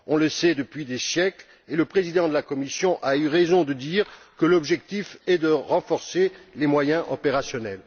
On le sait depuis des siècles et le président de la Commission a eu raison de dire que l'objectif est de renforcer les moyens opérationnels.